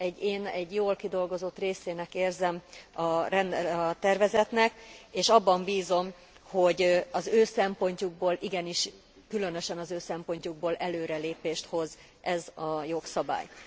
Én egy jól kidolgozott részének érzem a tervezetnek és abban bízom, hogy az ő szempontjukból, igenis különösen az ő szempontjukból, előrelépést hoz az a jogszabály.